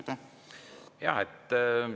Jaa!